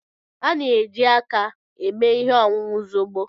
A na-eji aka eme ihe ọṅụṅụ zobo.